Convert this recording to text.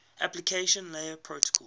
application layer protocols